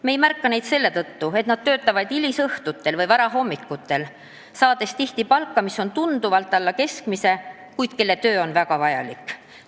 Me ei märka neid selle tõttu, et nad töötavad hilisõhtul või varahommikul, saades tihti palka, mis on tunduvalt alla keskmise, kuid nende töö on väga vajalik.